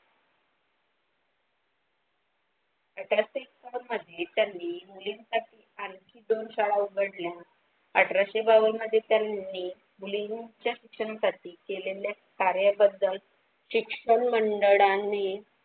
त्यानी मुलीं साठी आणखी दोन शाळा उघडल्या अठराशे बावन मध्ये त्यानी मुलींचे शिक्षणासाठी केलेल्या कार्य बद्दल शिक्षण मंडळ आणि.